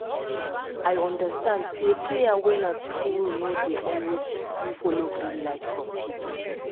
i don understand say prayer wey na true no dey always follow green light from people